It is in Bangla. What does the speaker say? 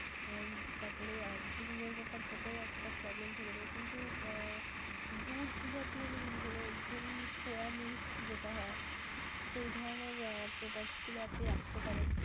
আহ তারপরে ডিমের ব্যাপারটাতেও একটা problem থেকে থাকে কিন্তু আহ দুধ জাতীয় যে জিনিস হলো ধরুন, soya milk যেটা হয় সেই ধরণের products গুলো আপনি রাখতে পারেন.